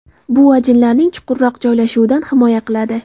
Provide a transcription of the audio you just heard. Bu ajinlarning chuqurroq joylashuvidan himoya qiladi.